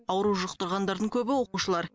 ауру жұқтырғандардың көбі оқушылар